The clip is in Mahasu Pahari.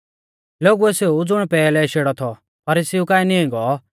लोगुऐ सेऊ ज़ुण पैहलै शेड़ौ थौ फरीसीउ काऐ नीं गौ